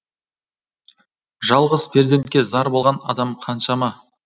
жалғыз перзентке зар болған адам қаншама